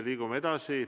Liigume edasi.